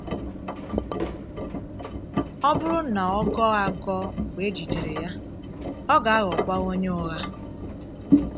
Ọ bụrụ na ọ gọọ́ àgọ̀ mgbe e jidere ya, ọ ga - aghọkwa onye ụ̀ghà.